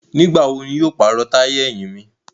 Nigbawo ni yóó paro taya ẹhin mi?